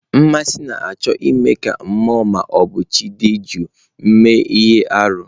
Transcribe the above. Mmasị na-achọ ime ka mmụọ ma ọ bụ chi dị jụụ mee ihe arụ.